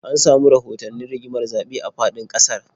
An samu rahotannin rigimar zaɓe a faɗin ƙasar